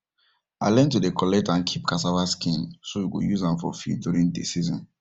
i learn to dey collect and keep cassava skin so we go use am for feed during dey season